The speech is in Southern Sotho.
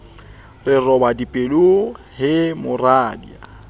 re roba dipelo he moradia